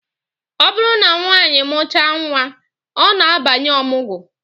Ọ bụrụ na nwanyị mụchaa nnwa, ọ na-abanye ọmụgwọ